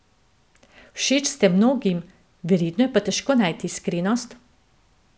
Všeč ste mnogim, verjetno je pa težko najti iskrenost?